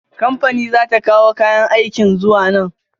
Kamfani za ta kawo kayan aikin zuwa nan.